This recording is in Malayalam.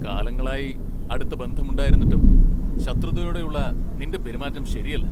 കാലങ്ങളായി അടുത്ത ബന്ധം ഉണ്ടായിരുന്നിട്ടും ശത്രുതയോടെയുള്ള നിന്റെ പെരുമാറ്റം ശരിയല്ല.